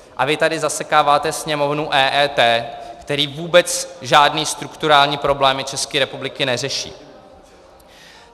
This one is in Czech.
A vy tady zasekáváte Sněmovnu EET, která vůbec žádné strukturální problémy České republiky neřeší.